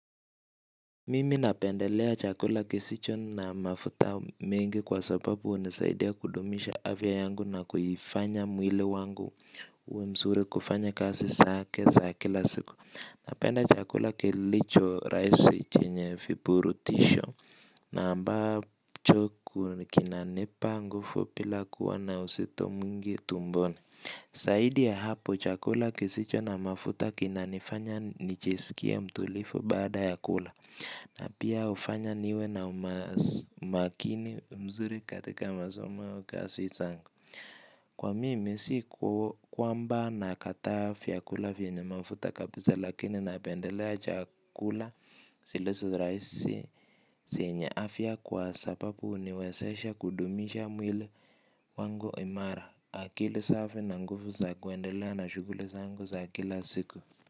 Mimi napendelea chakula kisicho na mafuta mengi kwa sababu hunisaidia kudumisha afya yangu na kuifanya mwili wangu uwe mzuri kufanya kazi zake za kila siku napenda chakula kilicho rahisi chenye viburudisho na ambacho ku kinanipa ngufu pila kuwa na usito meingi tumboni. Saidi ya hapo chakula kisicho na mafuta kinanifanya nichiskie mtulifu baada ya kula. Na pia hufanya niwe na umakini mzuri katika masoma au kasi sangu. Kwa mimi si kwamba nakataa fiakula vyenye mafuta kabisa lakini napendelea chakula. Silisoraisi. Zenye afya kwa sababu huniwezesha kudumisha mwili wangu imara. Akili safi na nguvu za kuendelea na shughuli zangu za kila siku.